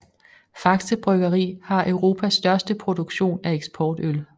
Faxe Bryggeri har Europas største produktion af eksportøl